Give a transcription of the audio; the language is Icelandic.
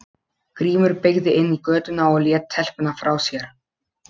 Grímur beygði inn í götuna og lét telpuna frá sér.